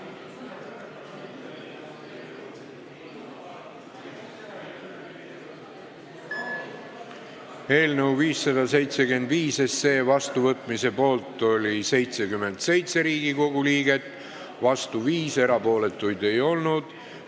Hääletustulemused Eelnõu 575 vastuvõtmise poolt oli 77 ja vastu 5 Riigikogu liiget, erapooletuid ei olnud.